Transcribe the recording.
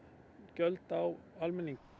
gjöld á almenning